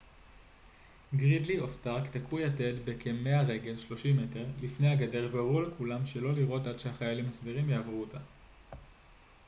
גרידלי או סטארק תקעו יתד כ-100 רגל 30 מ' לפני הגדר והורו לכולם שלא לירות עד שהחיילים הסדירים יעברו אותה